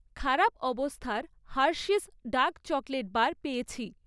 খারাপ অবস্থার Hershey's dark chocolate bar পেয়েছি।